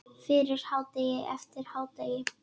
Fyrir hádegi, eftir hádegi.